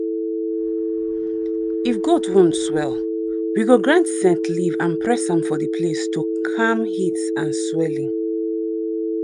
if goat wound swell we go grind scent leaf and press am for the place to calm heat and swelling.